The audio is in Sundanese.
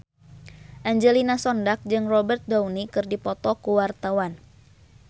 Angelina Sondakh jeung Robert Downey keur dipoto ku wartawan